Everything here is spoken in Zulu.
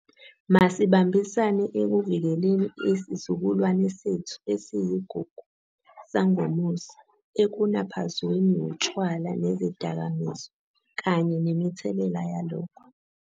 Masibambisane ekuvikeleni isizukulwane sethu esiyigugu sangomuso ekunaphazweni wutshwala nezidakamizwa kanye nemithelela yalokho.